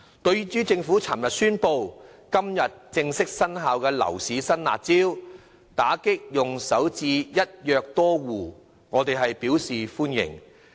對於政府昨天宣布實施、今天正式生效的樓市新"辣招"，打擊利用首置"一約多戶"的漏洞，我們表示歡迎。